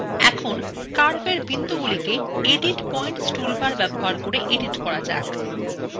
এখন curveএ বিন্দুগুলিকে এডিট পয়েন্টসটুলবার ব্যবহার করে edit করা যাক